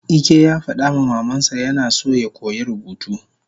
Ike yafadama mamansa yina so yakoya rubutu